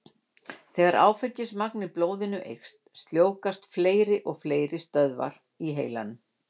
Þegar áfengismagn í blóði eykst, sljóvgast fleiri og fleiri stöðvar í heilanum.